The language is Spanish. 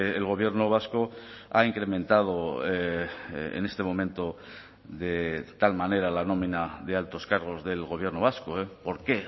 el gobierno vasco ha incrementado en este momento de tal manera la nómina de altos cargos del gobierno vasco por qué